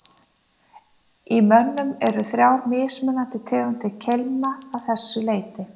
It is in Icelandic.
Í mönnum eru þrjár mismunandi tegundir keilna að þessu leyti.